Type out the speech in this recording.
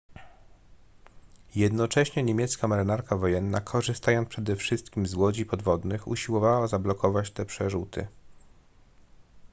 jednocześnie niemiecka marynarka wojenna korzystając przede wszystkim z łodzi podwodnych usiłowała zablokować te przerzuty